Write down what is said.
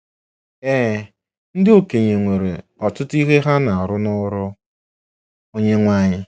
Ee, ndị okenye nwere “ọtụtụ ihe ha na-arụ n’ọrụ Onyenwe anyị .”